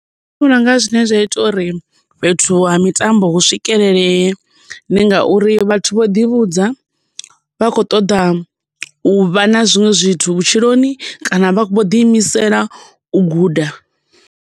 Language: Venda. Nṋe ndi vhona unga zwine zwa ita uri fhethu ha mitambo hu swikelelee ndi ngauri vhathu vho ḓivhudza vha kho ṱoḓa u vha na zwiṅwe zwithu vhutshiloni kana vho ḓi imisela u guda.